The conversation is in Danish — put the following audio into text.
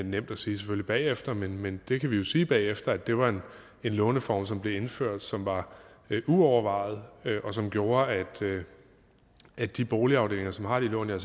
nemt at sige bagefter men men det kan vi jo sige bagefter at det var en låneform som blev indført som var uovervejet og som gjorde at de boligafdelinger som har de lån og